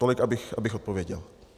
Tolik abych odpověděl.